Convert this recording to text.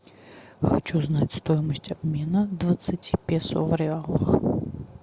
хочу знать стоимость обмена двадцати песо в реалах